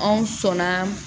Anw sɔnna